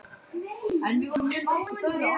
Rúbar, stilltu niðurteljara á tvær mínútur.